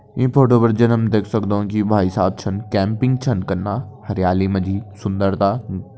ईं फोटो पर जन हम देख सक्दों की भाई सहाब छन कैंपिंग छन कना हरियाली मा जी सुंदरता --